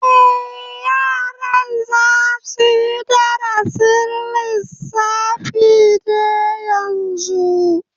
Eh, yaran za suyi darasin lissafi ne yanzu